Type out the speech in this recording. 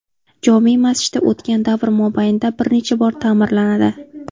Jome masjidi o‘tgan davr mobaynida bir necha bor ta’mirlanadi.